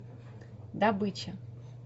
добыча